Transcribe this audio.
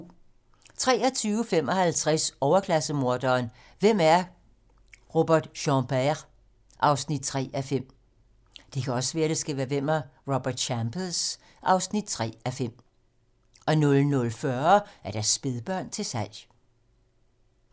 23:55: Overklasse-morderen: Hvem er Robert Champers? (3:5) 00:40: Spædbørn til salg